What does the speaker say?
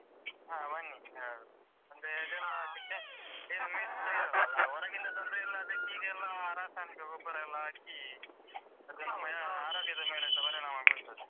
ಹಾ ಬನ್ನಿ ಯಾವಗಾದ್ರು. ಅಂದ್ರೆ ಇದೆಲ್ಲ ಏನು mix ಇರಲ್ಲ ಅಲ ಹೊರಗಿಂದ ತಂದ್ರೆ ಎಲ್ಲ ಅದಕ್ಕೆ ಈಗೆಲ್ಲ ರಾಸಾಯನಿಕ ಗೊಬ್ಬರ ಎಲ್ಲ ಹಾಕಿ ಅದು ನಮ್ಮ ಆರೋಗ್ಯದ ಮೇಲೆಸ ಪರಿಣಾಮ ಬೀರ್ತದೆ.